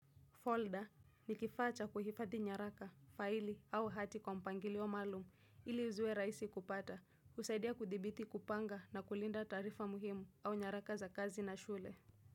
Folda ni kifaa cha kuhifadhi nyaraka, faili au hati kwa mpangilio maalum ili ziwe rahisi kupata, husaidia, kudhibiti, kupanga na kulinda taarifa muhimu au nyaraka za kazi na shule.